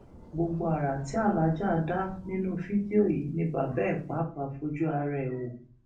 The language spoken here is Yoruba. gbogbo ara tí aláàjà dá nínú fídíò yìí ni bàbá ẹ pàápàá fojú ara ẹ wò